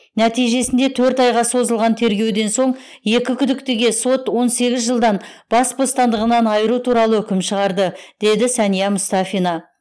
нәтижесінде төрт айға созылған тергеуден соң екі күдіктіге сот он сегіз жылдан бас бостандығынан айыру туралы үкім шығарды деді сәния мұстафина